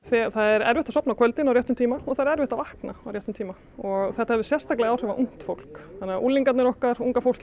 það er erfitt að sofna á kvöldin á réttum tíma og það er erfitt að vakna á réttum tíma og þetta hefur sérstaklega áhrif á ungt fólk unglingarnir okkar unga fólkið